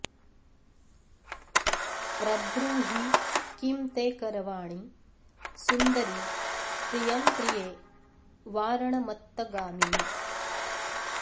प्रब्रूहि किं ते करवाणि सुन्दरि प्रियं प्रिये वारणमत्तगामिनि